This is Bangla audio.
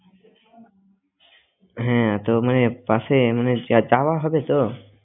হ্যাঁ তো মানে পাশে মানে যাওয়া হবে তো